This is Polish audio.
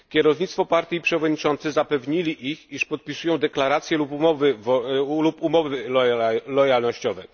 Kierownictwo partii i przewodniczący zapewnili ich, iż podpisują deklarację lub umowy lojalnościowe.